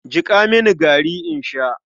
Jiƙa mini gari in sha.